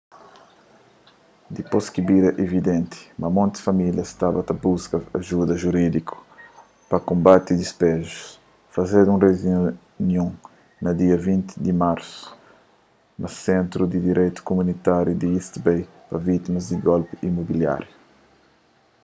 dipôs ki bira evidenti ma monti famílias staba ta buska ajuda jurídiku pa konbati dispejus fazedu un reunion na dia 20 di marsu na sentru di direitu kumunitáriu di east bay pa vítimas di golpi imobiláriu